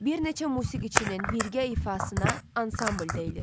Bir neçə musiqiçinin birgə ifasına ansambl deyilir.